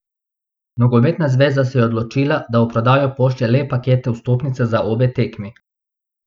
Nogometna zveza se je odločila, da v prodajo pošlje le paketne vstopnice za obe tekmi.